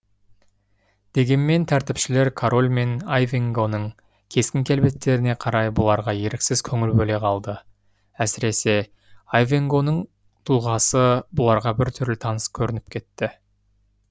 дегенмен тәртіпшілер король мен айвенгоның кескін келбеттеріне қарай бұларға еріксіз көңіл бөле қалды әсіресе айвенгоның тұлғасы бұларға бір түрлі таныс көрініп кетті